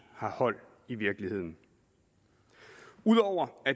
har hold i virkeligheden ud over